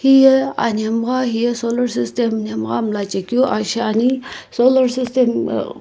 hiye anhmegha hiye solar system nhemgha mlachekeu aa shiani uh --